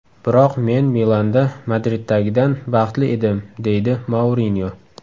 Biroq men Milanda Madriddagidan baxtli edim”, deydi Mourinyo.